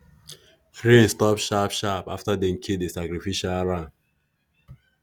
rain stop sharp-sharp after dem kill the sacrificial ram.